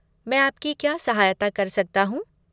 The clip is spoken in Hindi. मैं आपकी क्या सहायता कर सकता हूँ?